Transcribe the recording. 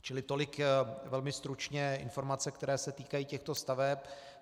Čili tolik velmi stručné informace, které se týkají těchto staveb.